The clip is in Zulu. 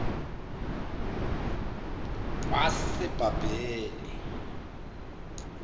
wasebhabhele